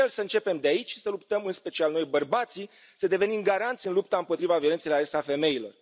E crucial să începem de aici să luptăm, în special noi bărbații, să devenim garanți în lupta împotriva violenței la adresa femeilor.